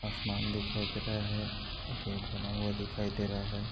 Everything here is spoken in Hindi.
आसमान दिखाई दे रहा है गेट बना हुआ दिखाई दे रहा है।